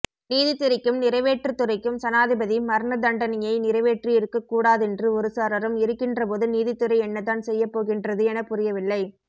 நீதித்துறைக்கும் நிறைவேற்றுத்துறைக்கும் சனாதிபதி மரணதண்டனையை நிறைவேற்றியிருக்கக்கூடாதென்று ஒருசாராரும் இருக்கின்றபோது நீதித்துறை என்னதான் செய்யப்போகின்றது எனப்புரியவில்லை